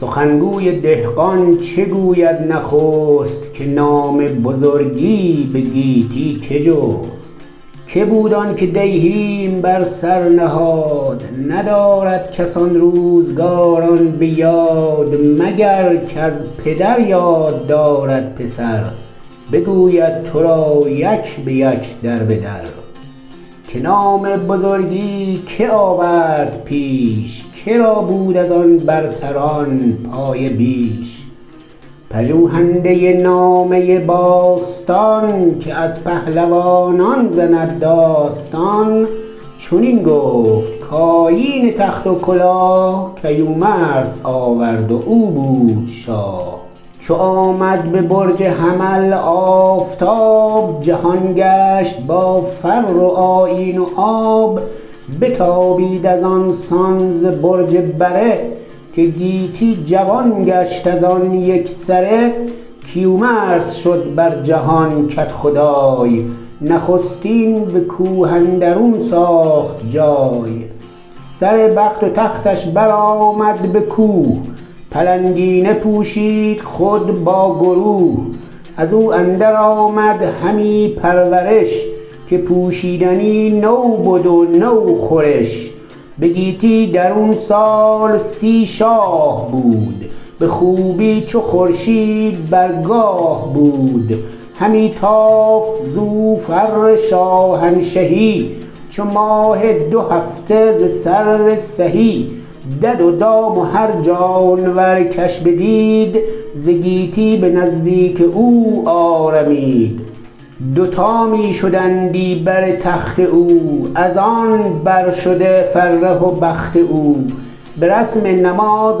سخن گوی دهقان چه گوید نخست که نام بزرگی به گیتی که جست که بود آن که دیهیم بر سر نهاد ندارد کس آن روزگاران به یاد مگر کز پدر یاد دارد پسر بگوید تو را یک به یک در به در که نام بزرگی که آورد پیش که را بود از آن برتران پایه بیش پژوهنده نامه باستان که از پهلوانان زند داستان چنین گفت کآیین تخت و کلاه کیومرث آورد و او بود شاه چو آمد به برج حمل آفتاب جهان گشت با فر و آیین و آب بتابید از آن سان ز برج بره که گیتی جوان گشت از آن یک سره کیومرث شد بر جهان کدخدای نخستین به کوه اندرون ساخت جای سر بخت و تختش بر آمد به کوه پلنگینه پوشید خود با گروه از او اندر آمد همی پرورش که پوشیدنی نو بد و نو خورش به گیتی درون سال سی شاه بود به خوبی چو خورشید بر گاه بود همی تافت زو فر شاهنشهی چو ماه دو هفته ز سرو سهی دد و دام و هر جانور کش بدید ز گیتی به نزدیک او آرمید دوتا می شدندی بر تخت او از آن بر شده فره و بخت او به رسم نماز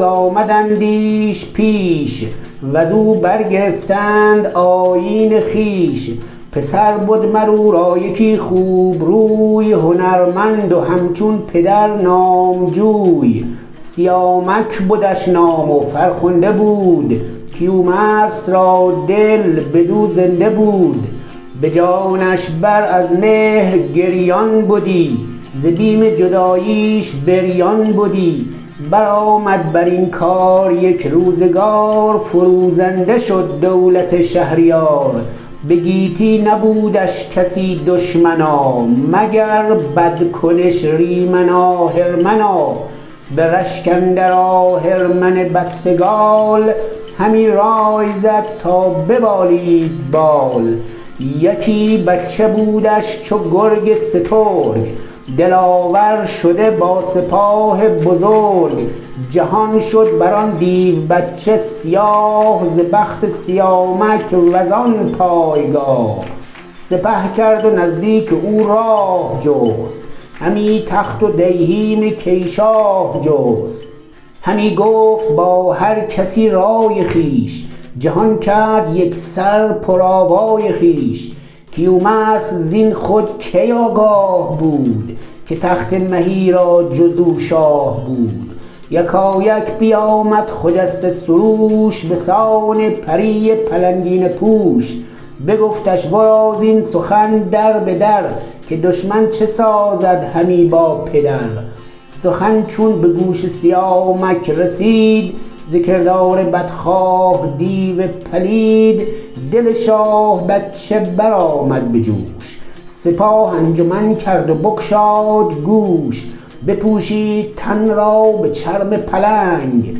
آمدندیش پیش و ز او برگرفتند آیین خویش پسر بد مر او را یکی خوب روی هنرمند و همچون پدر نامجوی سیامک بدش نام و فرخنده بود کیومرث را دل بدو زنده بود به جانش بر از مهر گریان بدی ز بیم جداییش بریان بدی بر آمد بر این کار یک روزگار فروزنده شد دولت شهریار به گیتی نبودش کسی دشمنا مگر بدکنش ریمن آهرمنا به رشک اندر آهرمن بدسگال همی رای زد تا ببالید بال یکی بچه بودش چو گرگ سترگ دلاور شده با سپاه بزرگ جهان شد بر آن دیو بچه سیاه ز بخت سیامک و زان پایگاه سپه کرد و نزدیک او راه جست همی تخت و دیهیم کی شاه جست همی گفت با هر کسی رای خویش جهان کرد یک سر پر آوای خویش کیومرث زین خود کی آگاه بود که تخت مهی را جز او شاه بود یکایک بیامد خجسته سروش به سان پری پلنگینه پوش بگفتش ورا زین سخن در به در که دشمن چه سازد همی با پدر سخن چون به گوش سیامک رسید ز کردار بدخواه دیو پلید دل شاه بچه بر آمد به جوش سپاه انجمن کرد و بگشاد گوش بپوشید تن را به چرم پلنگ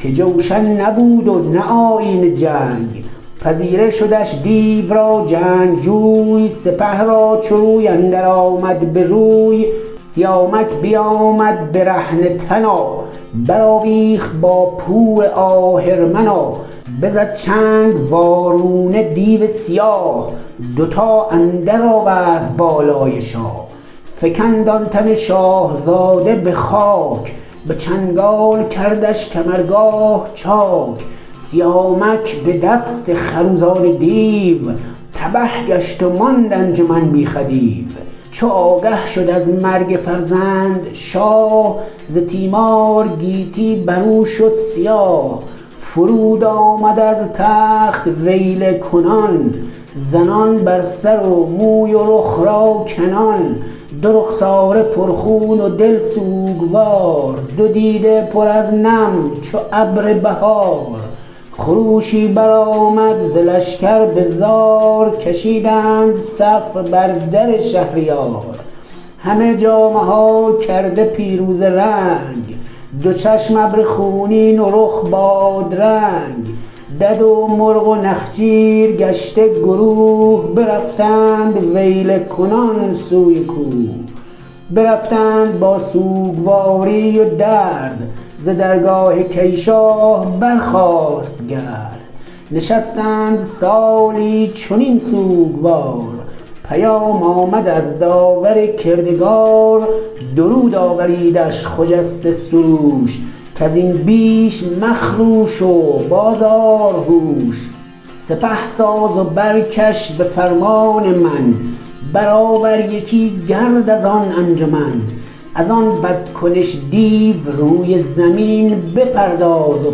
که جوشن نبود و نه آیین جنگ پذیره شدش دیو را جنگجوی سپه را چو روی اندر آمد به روی سیامک بیامد برهنه تنا بر آویخت با پور آهرمنا بزد چنگ وارونه دیو سیاه دوتا اندر آورد بالای شاه فکند آن تن شاهزاده به خاک به چنگال کردش کمرگاه چاک سیامک به دست خروزان دیو تبه گشت و ماند انجمن بی خدیو چو آگه شد از مرگ فرزند شاه ز تیمار گیتی بر او شد سیاه فرود آمد از تخت ویله کنان زنان بر سر و موی و رخ را کنان دو رخساره پر خون و دل سوگوار دو دیده پر از نم چو ابر بهار خروشی بر آمد ز لشکر به زار کشیدند صف بر در شهریار همه جامه ها کرده پیروزه رنگ دو چشم ابر خونین و رخ بادرنگ دد و مرغ و نخچیر گشته گروه برفتند ویله کنان سوی کوه برفتند با سوگواری و درد ز درگاه کی شاه برخاست گرد نشستند سالی چنین سوگوار پیام آمد از داور کردگار درود آوریدش خجسته سروش کز این بیش مخروش و باز آر هوش سپه ساز و برکش به فرمان من بر آور یکی گرد از آن انجمن از آن بد کنش دیو روی زمین بپرداز و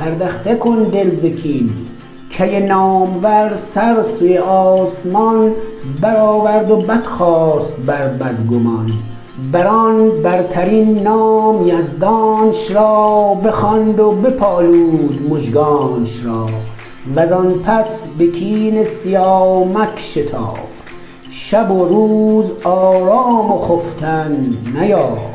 پردخته کن دل ز کین کی نامور سر سوی آسمان بر آورد و بدخواست بر بدگمان بر آن برترین نام یزدانش را بخواند و بپالود مژگانش را و زان پس به کین سیامک شتافت شب و روز آرام و خفتن نیافت